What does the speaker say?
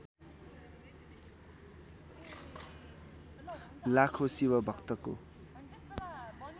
लाखो शिव भक्तको